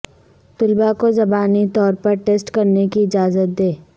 طلباء کو زبانی طور پر ٹیسٹ کرنے کی اجازت دیں